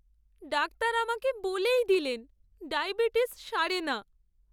Doctor আমাকে বলেই দিলেন ডায়াবেটিস সারে না।